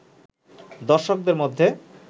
দর্শকের মধ্যে